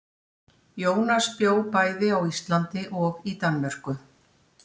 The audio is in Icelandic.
Jónas bjó bæði á Íslandi og í Danmörku.